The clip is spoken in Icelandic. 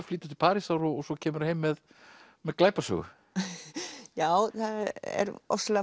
flytur til Parísar og svo kemurðu heim með með glæpasögu já það er ofsalega